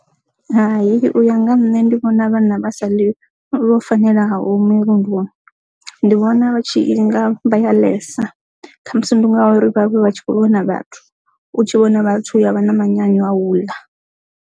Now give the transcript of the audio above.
Hai, u ya nga nṋe ndi vhona vhana vha sa ḽi vho fanelaho mirunduni ndi vhona vha tshi nga vha yodalesa kha muvhuso ndi ya uri vhavhe vha tshi khou lwa na vhathu u tshi vhona vhathu ya vha na manyoro a wu ḽa.